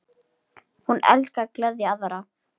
Hún elskaði að gleðja aðra.